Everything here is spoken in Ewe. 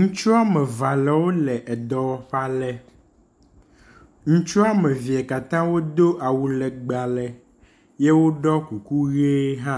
Ŋutsu wome eve wole dɔwɔƒe aɖe, ŋutsu womevee katã wodo awu legbe ye woɖɔ kuku ʋi hã,